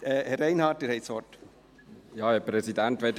Herr Reinhard, Sie haben das Wort.